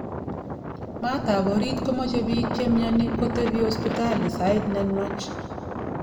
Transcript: maat ap orit komache piik chemiani kotopi hospitali sait nenwach